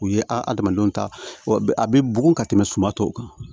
U ye adamadenw ta a bɛ bugun ka tɛmɛ suma tɔw kan